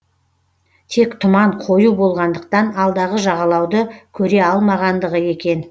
тек тұман қою болғандықтан алдағы жағалауды көре алмағандығы екен